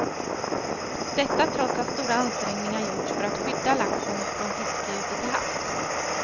Detta trots att stora ansträngningar gjorts för att skydda laxen från fiske ute till havs.